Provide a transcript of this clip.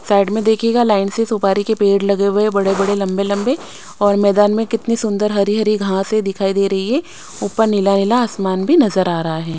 Side में देखिएगा line से सुपारी के पेड़ लगे हुए हैं बड़े-बड़े लंबे-लंबे और मैदान में कितनी सुंदर हरी-हरी घांसे दिखाई दे रही है ऊपर नीला नीला आसमान भी नजर आ रहा है।